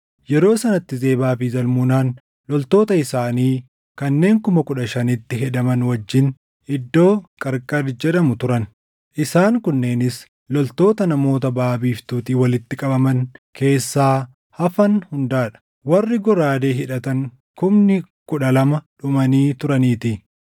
Yeroo sanatti Zebaa fi Zalmunaan loltoota isaanii kanneen kuma kudha shanitti hedaman wajjin iddoo Qarqari jedhamu turan; isaan kunneenis loltoota namoota baʼa biiftuutii walitti qabaman keessaa hafan hundaa dha; warri goraadee hidhatan kumni kudha lama dhumanii turaniitii.